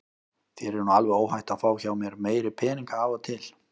Þér er nú alveg óhætt að fá hjá mér meiri peninga af og til.